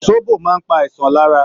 Sóbò maá ń pa àìsàn lára.